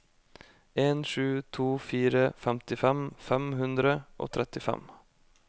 en sju to fire femtifem fem hundre og trettifem